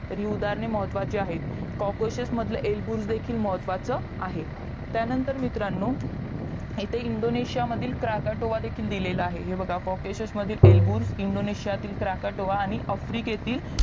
तरी उदाहरणे महत्वाची आहेत कोकोशीस मधला एलबुल देखील सुद्धा महत्वाचा आहे त्यानंतर मित्रांनो इथे इंदोंनेशिया मधील क्रकोटोवा दिलेला आहे हे पहा कोकोशिस मधील एलबुल आणि इंदोनेशिया तील काकोटोवा आणि आफ्रिकेतील